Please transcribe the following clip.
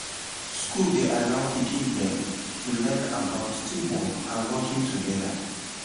school dey allow pikin dem to learn about team work and working together